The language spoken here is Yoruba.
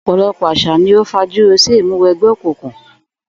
Ò̩pò̩lo̩pò̩ às̩à ni ó fajúro sí ìmúwe̩gbé̩ òkùnkùn